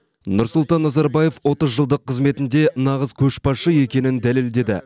нұрсұлтан назарбаев отыз жылдық қызметінде нағыз көшбасшы екенін дәлелдеді